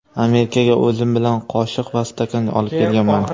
Amerikaga o‘zim bilan qoshiq va stakan olib kelganman.